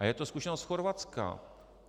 A je to zkušenost z Chorvatska.